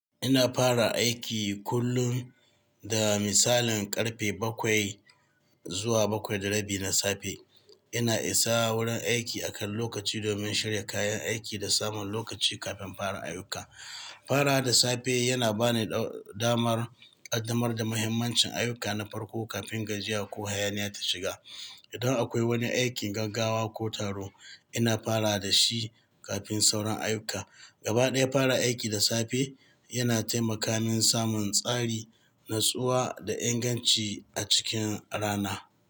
Ina fara aiki kullum da misalin ƙarfe bakwai zuwa bakwai da rabi na safe. Ina isa wurin aiki akan lokaci domin shirya kayan aiki da samun lokaci kafin farar ayyuka. Farawa da safe yana ba ni damar ƙaddamar da muhimmancin ayyuka na farko kafin gajiya ko hayaniya ta shiga. Idan akwai wani aikin gaggawa ko taro, ina fara da shi kafin sauran ayyuka. Gaba ɗaya fara aiki da safe yana taimaka min samun tsari, natsuwa da inganci a cikin rana.